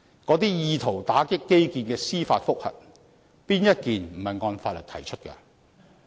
那些意圖打擊基建的司法覆核，哪一宗不是按法律提出的？